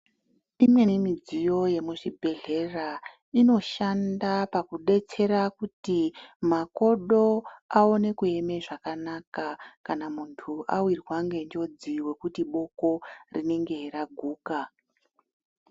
Imweni midziyo yemuzvibhehlera inoshanda pakudetsera kuti makodo aone kuema zvakanaka kana muntu awirwa ngenjodzi pakuti boko rinenge raguka.